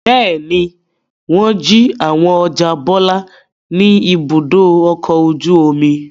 Bẹ́ẹ̀ ni, wọ́n jí àwọn ọjà Bọ́lá ní Ibùdó-ọkọ̀ ojú-omi.